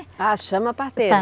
Ah, chama a parteira. Está